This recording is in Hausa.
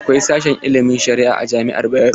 Akwai sashen ilimin sharia a jami'ar Bayero.